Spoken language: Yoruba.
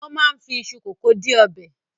Wọ́n máa ń fi iṣu kòkó di ọbẹ̀.